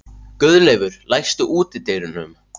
Guðleifur, læstu útidyrunum.